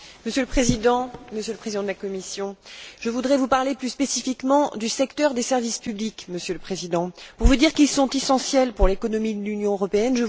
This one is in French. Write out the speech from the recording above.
Monsieur le Président, Monsieur le Président de la Commission, je voudrais vous parler plus spécifiquement du secteur des services publics, pour vous dire qu'il est essentiel pour l'économie de l'Union européenne.